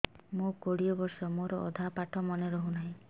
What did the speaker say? ମୋ କୋଡ଼ିଏ ବର୍ଷ ମୋର ଅଧା ପାଠ ମନେ ରହୁନାହିଁ